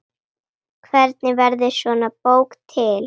Hvernig verður svona bók til?